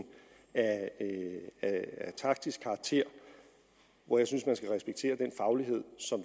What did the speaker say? af taktisk karakter hvor jeg synes man skal respektere den faglighed som